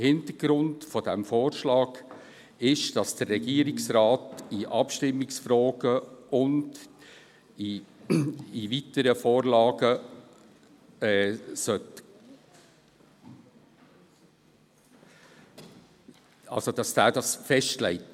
Hintergrund dieses Vorschlags ist es, dass der Regierungsrat die Abstimmungstage und die zur Abstimmung kommenden Vorlagen festlegt.